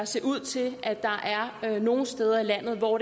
ser ud til at der er nogle steder i landet hvor